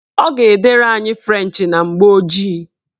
Ọ ga-edere anyị frenchị na mgbooji